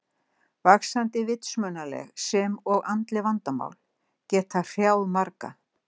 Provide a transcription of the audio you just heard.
Vaxandi vitsmunaleg sem og andleg vandamál geta hrjáð marga.